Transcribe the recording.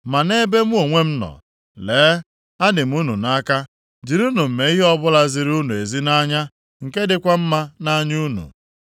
Ma nʼebe mụ onwe m nọ, lee adị m unu nʼaka, jirinụ m mee ihe ọbụla ziri unu ezi nʼanya nke dịkwa mma nʼanya unu.